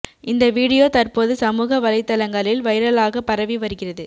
இந்த வீடியோ தற்போது சமூக வலைத்தளங்களில் வைரலாக பரவி வருகிறது